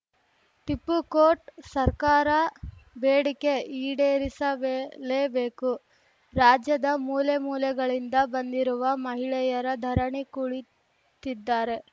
ಟಿಪ್ಪು ಕೋಟ್‌ ಸರ್ಕಾರ ಬೇಡಿಕೆ ಈಡೇರಿಸಬೇಲೇಬೇಕು ರಾಜ್ಯದ ಮೂಲೆಮೂಲೆಗಳಿಂದ ಬಂದಿರುವ ಮಹಿಳೆಯರ ಧರಣಿ ಕುಳಿತಿದ್ದಾರೆ